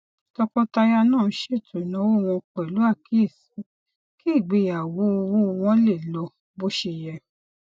tọkọtaya náà ṣètò ináwó wọn pẹlú àkíyèsí kí ìgbéyàwó owó wọn lè lọ bóṣeyẹ